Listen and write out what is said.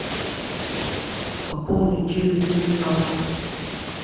пополнить через терминал